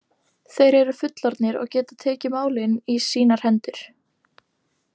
Þeir eru fullorðnir og geta tekið málin í sínar hendur.